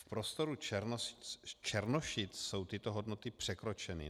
V prostoru Černošic jsou tyto hodnoty překročeny.